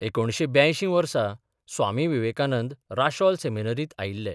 एकुणशे ब्यांयशी वर्सा स्वामी विवेकानंद राशेल सेमिनारीत आयिल्ले.